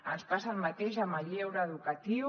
ens passa el mateix amb el lleure educatiu